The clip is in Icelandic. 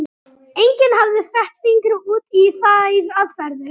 Enginn hafði fett fingur út í þær aðferðir.